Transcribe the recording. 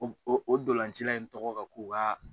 O o o dɔlancila in tɔgɔ ka k'o ka